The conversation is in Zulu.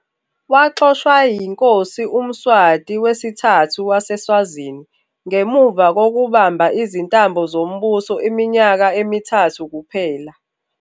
Waxoshwa yiNkosi uMswati III waseSwazini, ngemuva kokubamba izintambo zombuso iminyaka emithathu kuphela.